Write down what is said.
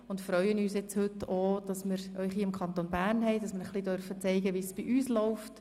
Wir freuen uns, dass Sie heute im Kanton Bern sind und wir Ihnen zeigen dürfen, wie es bei uns läuft.